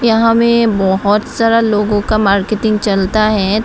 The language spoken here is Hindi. यहां में बहुत सारा लोगों का मार्केटिंग चलता है।